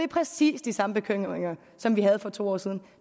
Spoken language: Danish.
præcis de samme bekymringer som vi havde for to år siden